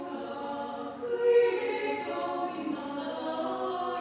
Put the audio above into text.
Aitäh!